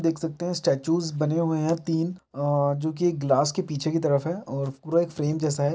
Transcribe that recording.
देख सकते है स्टैचुज़ बने हुए है तीन आ जो की एक गलास के पीछे की तरफ है और पूरा एक फ्रेम जैसा है।